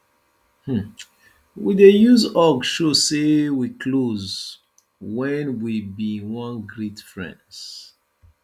um we dey use hug show sey wey close wen we bin wan greet friends